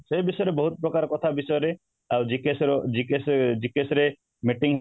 ଏଇ ବିଷୟରେ ବହୁତ ପ୍ରକାର କଥା ଏଇ ବିଷୟରେ ଆଉ GKS ର GKS ରେ meeting